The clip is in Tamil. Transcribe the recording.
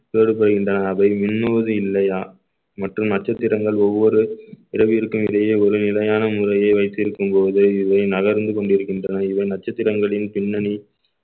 வேறுபடுகின்றன அவை மிண்ணுவது இல்லையா மற்றும் நட்சத்திரங்கள் ஒவ்வொரு இரவிருக்கும் இடையே ஒரு நிலையான முறைய வைத்திருக்கும் போது இவை நகர்ந்து கொண்டிருக்கின்றன இவை நட்சத்திரங்களின் பின்னணி